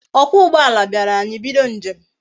Okwa ugboala biara anyi ebido njem